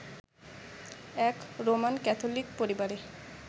এক Roman Catholic পরিবারে